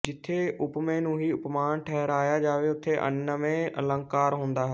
ਜਿੱਥੇ ਉਪਮੇਯ ਨੂੰ ਹੀ ਉਪਮਾਨ ਠਹਿਰਾਇਆ ਜਾਵੇੇ ਉਥੇ ਅਨਨਵੈ ਅਲੰਕਾਰ ਹੁੰਦਾ ਹੈ